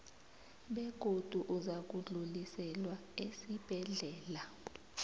begodu uzakudluliselwa esibhedlela